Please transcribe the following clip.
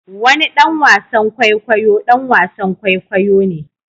Wani ɗan wasan kwaikwayo ɗan wasan kwaikwayo ne